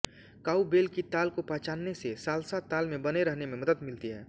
cowbell की ताल को पहचानने से साल्सा ताल में बने रहने में मदद मिलती है